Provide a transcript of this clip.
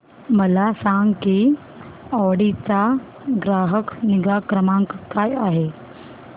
मला सांग की ऑडी चा ग्राहक निगा क्रमांक काय आहे